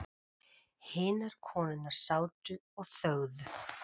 Hinar konurnar sátu og þögðu.